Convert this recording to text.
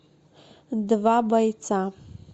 два бойца